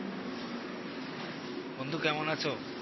বন্ধু কেমন আসো?